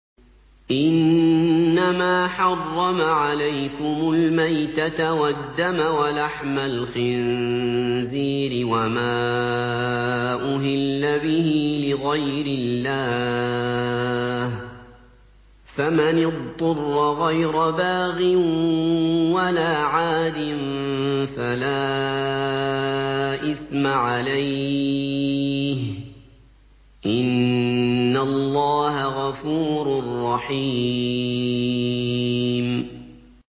إِنَّمَا حَرَّمَ عَلَيْكُمُ الْمَيْتَةَ وَالدَّمَ وَلَحْمَ الْخِنزِيرِ وَمَا أُهِلَّ بِهِ لِغَيْرِ اللَّهِ ۖ فَمَنِ اضْطُرَّ غَيْرَ بَاغٍ وَلَا عَادٍ فَلَا إِثْمَ عَلَيْهِ ۚ إِنَّ اللَّهَ غَفُورٌ رَّحِيمٌ